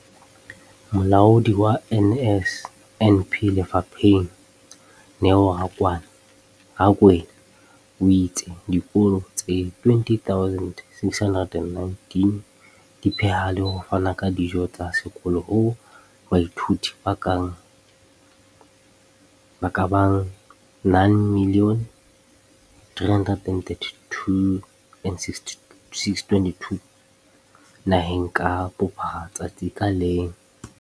Molaodi wa NSNP lefapheng, Neo Rakwena, o itse dikolo tse 20 619 di pheha le ho fana ka dijo tsa sekolo ho baithuti ba ka bang 9 032 622 naheng ka bophara letsatsi ka leng.